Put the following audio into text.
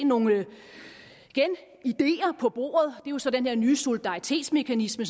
nogle ideer på bordet det jo så den her nye solidaritetsmekanisme